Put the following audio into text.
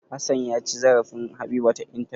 Hassan ya ci zarafin Habiba ta intanet.